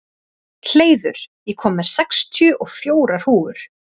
Hleiður, ég kom með sextíu og fjórar húfur!